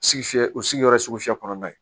Suguya o sigiyɔrɔ ye sugu fiyɛ kɔnɔna ye